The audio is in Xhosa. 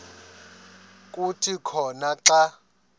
kuthi khona xa